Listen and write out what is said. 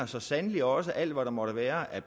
så sandelig også alt hvad der måtte være af